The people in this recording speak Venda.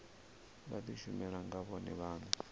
vha dishumele nga vhone vhane